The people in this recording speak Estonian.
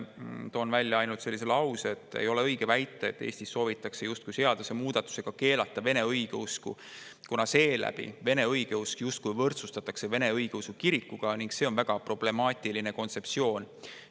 Toon välja sellised laused: "Ei ole õige väita, et Eestis soovitakse justkui seadusemuudatusega keelata vene õigeusku, kuna seeläbi vene õigeusk justkui võrdsustatakse Vene Õigeusu Kirikuga ning see on väga problemaatiline kontseptsioon.